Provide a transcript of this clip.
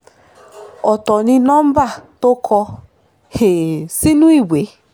ọ̀tọ̀ ni number tó kọ um sínú ìwé